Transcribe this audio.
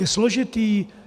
Je složitý.